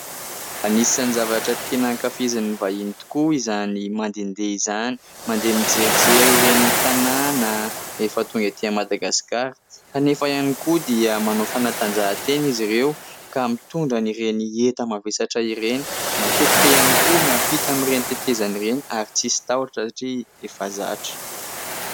Anisan'ny zavatra tena ankafizin'ny vahiny tokoa izany mandehandeha izany. Mandeha mijerijery ireny tanàna, rehefa tonga aty Madagasikara ; kanefa ihany koa dia manao fanatanjahantena izy ireo ka mitondra an'ireny enta-mavesatra ireny. Matetika ihany koa miampita amin'ireny tetezana ireny ary tsy misy tahotra satria efa zatra.